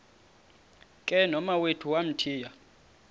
ke nomawethu wamthiya